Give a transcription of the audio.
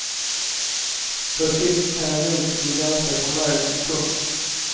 På sikt kan jag nog bli ganska förmögen. punkt